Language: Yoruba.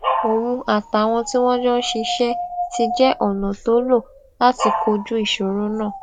òun àtàwọn tí wón jọ ń ṣiṣé ti jé ònà tó lò láti kojú ìṣòro náà